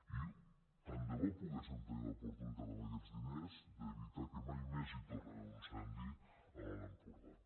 i tant de bo poguéssim tenir l’oportunitat amb aquests diners d’evitar que mai més hi torni a haver un incendi a l’alt empordà